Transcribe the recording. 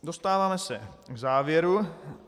Dostáváme se k závěru.